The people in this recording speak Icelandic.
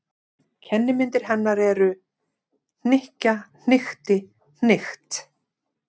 Kennimyndir hennar eru: hnykkja- hnykkti- hnykkt.